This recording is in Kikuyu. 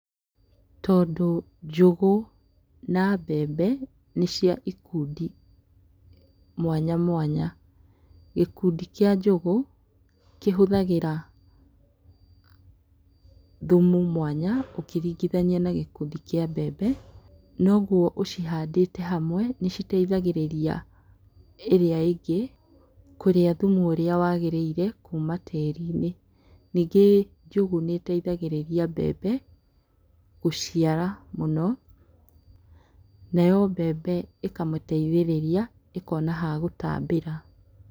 Tondũ njũgũ na mbembe nĩ cia ikundi mwanya mwanya, gĩkundi kĩa njũgũ kĩhũthagĩra thumu mwanya ũkĩringithania na gĩkundi kĩa mbembe noguo ũcihandĩte hamwe nĩciteithagĩrĩria ĩrĩa ĩngĩ kũrĩa thumu ũrĩa wagĩrĩire kuma tĩri-inĩ, ningĩ njũgũ nĩ ĩteithagĩria mbembe gũciara mũno nayo mbembe ĩkamĩteithĩrĩria ĩkona ha gũtambĩra.